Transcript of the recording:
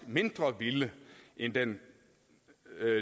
mindre vilde end den